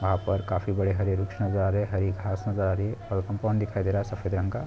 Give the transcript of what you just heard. यहाँ पर काफी बड़े नज़र आ रहे है हरी घास नज़र आ रही है और कंपाउंड दिखाई दे रहा है सफ़ेद रंग का--